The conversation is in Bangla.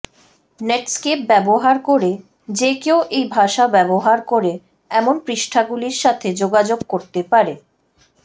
নেটস্কেপ ব্যবহার করে যে কেউ এই ভাষা ব্যবহার করে এমন পৃষ্ঠাগুলির সাথে যোগাযোগ করতে পারে